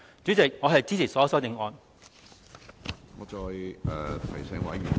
主席，我支持所有修正案。